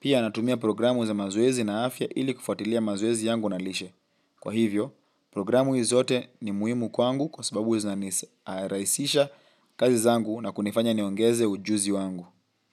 Pia natumia programu za mazoezi na afya ili kufuatilia mazoezi yangu na lishe. Kwa hivyo, programu hizi zote ni muhimu kwangu kwa sababu huwa zinaraisisha kazi zangu na kunifanya niongeze ujuzi wangu.